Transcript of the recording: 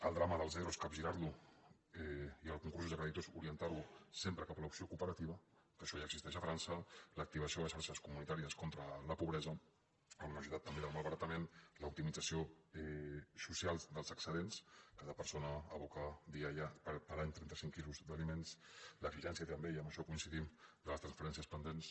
el drama dels ero capgirar·lo i els concursos de credi tors orientar·los sempre cap a l’opció cooperativa que això ja existeix a frança l’activació de xarxes comunitàries contra la pobresa en una societat també de malbaratament l’optimització social dels excedents cada persona aboca per any trenta·cinc quilos d’ali·ments l’exigència també i en això coincidim de les transferències pendents